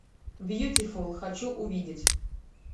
бьютифул хочу увидеть